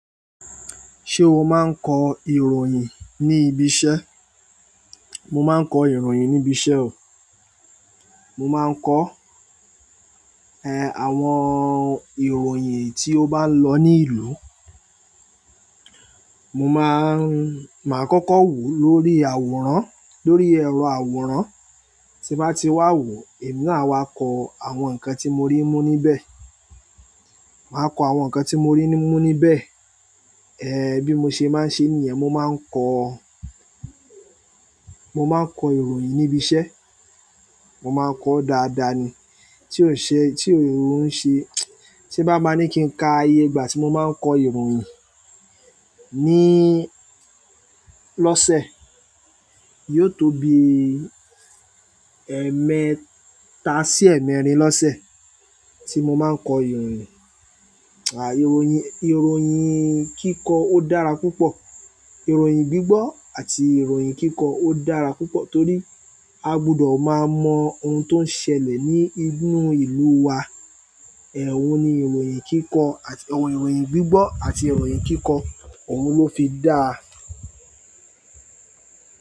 Ṣé o máa ń kọ ìròyìn ní ibi iṣẹ́? Mo máa ń kọ ìròyìn ní ibi iṣẹ́ o. Mo máa ń kọ, ẹ, àwọn ìròyìn tí ó bá ń lọ ní ìlú. Mo máa ń, máa kọ́kọ́ wo lórí àwòrán, lórí ẹ̀rọ àwòrán, tí bá ti wà wo, èmi náà wa kọ àwọn nǹkan tí mo rí mú níbẹ̀. Màá kọ àwọn nǹkan tí mo rí mú níbẹ̀. Bi mo sé máa ǹ ṣe nìyẹn, mo máà kọ ìròyìn níbí iṣẹ́. Mo máa ń kọ dáadáa ni. Tí ò ń ṣe, tí ò ń ṣe, tí bá máa ní kí n ka iyé, ìgbà tí mo máa ń kọ ìròyìn níí lọ́sẹ̀, yóò tó bi ẹẹ́mẹ́ta sí ẹ̀mẹ̀ẹ̀rin lọ́sẹ̀ tí mo máa ń kọ ìròyìn. Àì, ìròyìn, ìròyìn kíkọ ó dára púpọ̀. Ìròyìn gbígbọ́ àti ìròyìn kíkọ ó dára púpọ̀ torí a gbọdọ̀ máa mọ ohun tó ń ṣẹlẹ̀ ní inú ìlú wa. Òhun ní ìròyìn kìíkọ ìròyìn gbigbọ àti kiikọ ohùn ni o fi dáa.